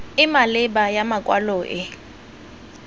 e maleba ya makwalo e